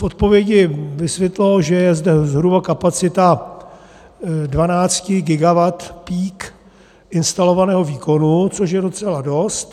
V odpovědi vysvětloval, že je zde zhruba kapacita 12 gigawatt-peak instalovaného výkonu, což je docela dost.